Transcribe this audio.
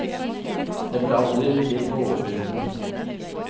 Det ble aldri til noe overbevisende.